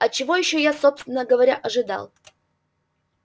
а чего ещё я собственно говоря ожидал